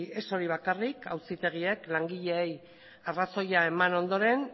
ez hori bakarrik auzitegiek langileei arrazoia eman ondoren